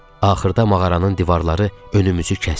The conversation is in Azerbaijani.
Axırda mağaranın divarları önümüzü kəsdi.